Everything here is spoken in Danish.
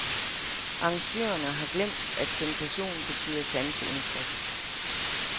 Arrangørerne har glemt, at sensation betyder sanseindtryk.